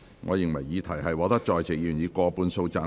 我認為議題獲得在席議員以過半數贊成。